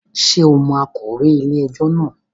Ṣe o mo akọ̀wé ilé ẹjọ́ náà